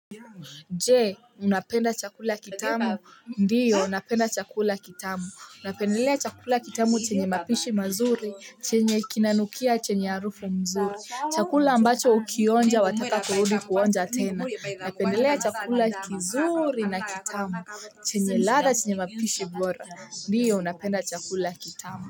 Je, unapenda chakula kitamu. Ndiyo, napenda chakula kitamu. Unapendelea chakula kitamu chenye mapishi mazuri, chenye kinanukia, chenye arufu mzuri. Chakula ambacho ukiyonja wataka kuludi kuonja tena. Unapenda chakula kizuri na kitamu. Chenye lada chenye mapishi bora. Ndiyo, unapenda chakula kitamu.